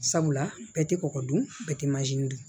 Sabula bɛɛ tɛ kɔkɔ dun bɛɛ tɛ